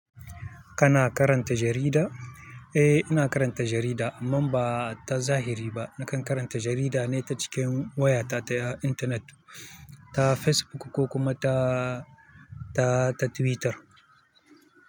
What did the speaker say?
Kana karanta jarida? Eh, ina karanta jarida amman ba ta zahiri ba. Nakan karanta jarida ne ta cikin wayata ta intanet, ta Facebook ko kuma ta, ta, ta Twitter.